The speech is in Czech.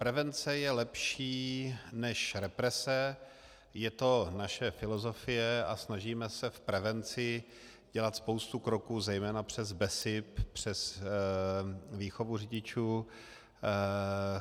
Prevence je lepší než represe, je to naše filozofie a snažíme se v prevenci dělat spoustu kroků, zejména přes BESIP, přes výchovu řidičů.